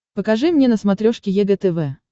покажи мне на смотрешке егэ тв